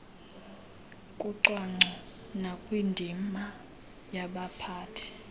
kucwangco nakwindima yabaphathi